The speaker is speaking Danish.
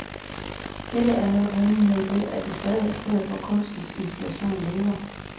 Dette er netop hemmeligheden ved, at det stadig er stedet, hvor kunstens inspiration lever.